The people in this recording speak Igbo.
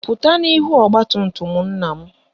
Pụta n'ihu ọgbatumtum nna m!